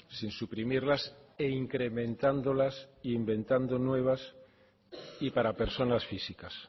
sin suprimirlas e incrementándolas e inventando nuevas y para personas físicas